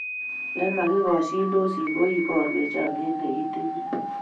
Ya makikashindosi ko ibarwech chamiet ne kitinye